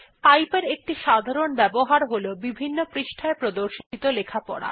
pipe এর একটি সাধারণ ব্যবহার হল বিভিন্ন পৃষ্ঠায় প্রদর্শিত লেখা পড়া